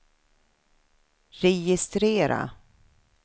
registrera